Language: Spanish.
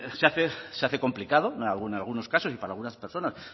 se hace complicado en algunos casos y para algunas personas